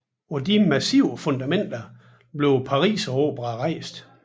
På disse massive fundamenter blev Pariseroperaen rejst